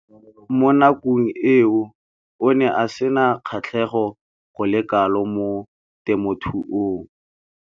Mo nakong eo o ne a sena kgatlhego go le kalo mo temothuong.